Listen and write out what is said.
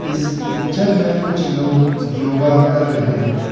इस पिक्चर में कुछ लोग योगा कर रहे हैं।